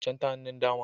Can ta hannun dama